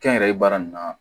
Kɛnyɛrɛye baara nin na